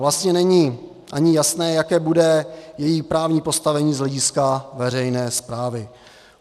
Vlastně není ani jasné, jaké bude její právní postavení z hlediska veřejné správy.